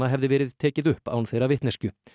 hefði verið tekið upp án þeirra vitneskju